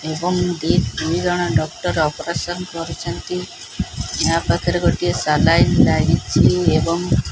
ଏବଂ ଦି ତିନି ଜଣ ଡକ୍ଟର ଅପରେସନ କରୁଛନ୍ତି ୟା ପାଖରେ ଗୋଟିଏ ସଲାଇନି ଲାଗିଚି ଏବଂ--